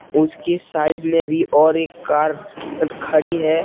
उसकी साइड में भी और एक कार खड़ी है।